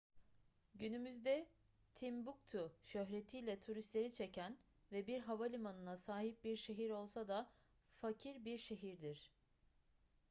günümüzde timbuktu şöhretiyle turistleri çeken ve bir havalimanına sahip bir şehir olsa da fakir bir şehirdir